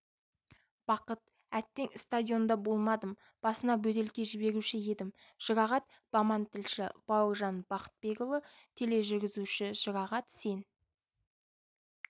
бақыт әттең стадионда болмадым басына бөтелке жіберуші едім жұрағат баман тілші бауыржан бақытбекұлы тележүргізуші жұрағат сен